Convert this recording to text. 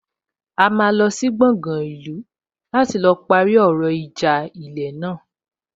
A máa lọ sí gbọgán ìlú láti lọ parí ọ̀rọ̀ ìjà ilẹ̀ náà